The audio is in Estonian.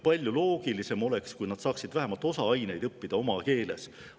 Palju loogilisem oleks, kui nad saaksid vähemalt osa aineid õppida oma keeles.